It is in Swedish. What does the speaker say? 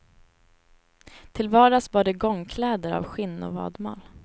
Till vardags bar de gångkläder av skinn och vadmal.